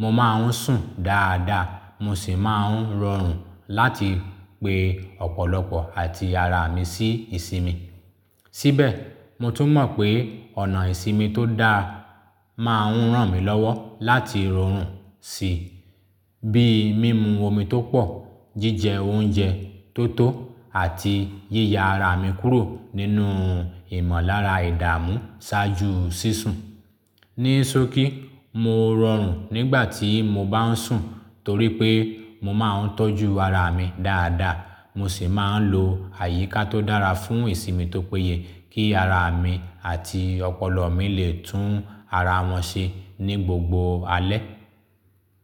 mo máa ń sùn dáadáa mo sì máa ń rọrùn láti pe ọ̀pọ̀lọpọ̀ àti ara mi sí ìsinmi. Síbẹ̀, mo tún mọ̀ pé ọ̀nà ìsinmi tó dáa máa ń ràn mí lọ́wọ́ láti rọrùn sí i, bíi mímu omi tó pọ̀, jíjẹ oúnjẹ tó tó àti yíya ara mi kúrò nínú ìmọ̀lára ìdààmú ṣáájú sísun. Ní sókí, mo rọrùn nígbà tí mo bá ń sùn torí pé mo máa ń tọ́jú ara mi dáadáa, mo sì máa ń lo àyíká tó dára fún ìsinmi tó péye kí ara mi àti ọpọlọ mi lè tún ara wọn ṣe ní gbogbo alẹ́.